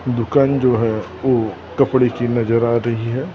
दुकान जो है वो कपड़े की नजर आ रही है।